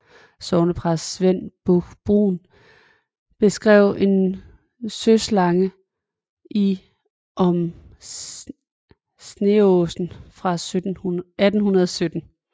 Sognepræst Svend Busch Brun beskrev en søslange i Om Sneaasen fra 1817